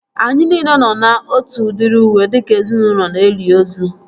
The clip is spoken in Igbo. Anyị nile nọ na otu udiri uwe dịka ezinaụlọ na-eli ozu